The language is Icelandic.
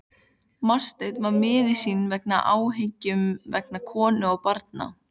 Marteinn var miður sín af áhyggjum vegna konu og barna.